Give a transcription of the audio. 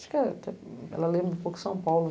Acho que ela lembra um pouco São Paulo.